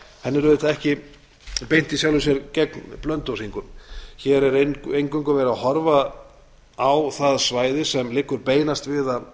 henni er auðvitað ekki beint í sjálfu sér gegn blönduósingum hér er eingöngu verið að horfa á það svæði sem liggur beinast við